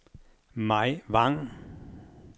Mai Vang